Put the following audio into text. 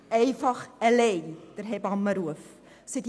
Da genügt der Hebammenruf alleine nicht.